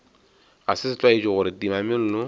ga se setlwaedi gore timamello